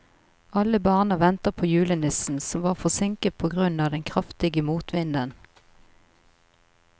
Alle barna ventet på julenissen, som var forsinket på grunn av den kraftige motvinden.